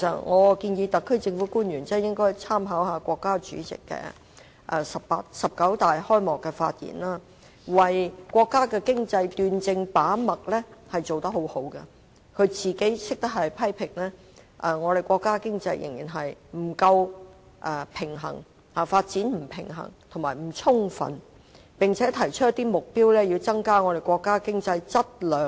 我建議特區政府官員應該參考國家主席在"十九大"的開幕發言，他為國家經濟把脈斷症做得很好，懂得自我批評，指出國家經濟的發展仍然不夠平衡、不充分，並且提出一些目標，以增加國家經濟的質量。